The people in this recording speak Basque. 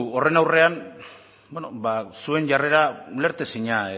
horren aurrean zuen jarrera ulertezina